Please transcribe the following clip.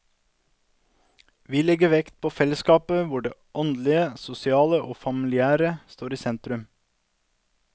Vi legger vekt på fellesskap hvor det åndelige, sosiale og familiære står i sentrum.